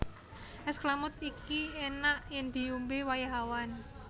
És klamud iki enak yen diombe wayah awan